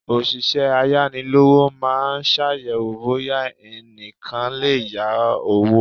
Òṣìṣẹ́ ayánilówó maa ṣàyẹ̀wò bóyá ẹnìkan lè yá owó.